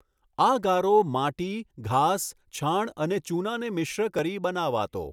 આ ગારો માટી, ઘાસ, છાણ અને ચૂનાને મિશ્ર કરી બનાવાતો.